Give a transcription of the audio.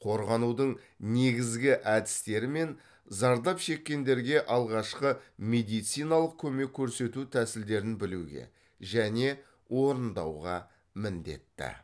қорғанудың негізгі әдістері мен зардап шеккендерге алғашқы медициналық көмек көрсету тәсілдерін білуге және орындауға міндетті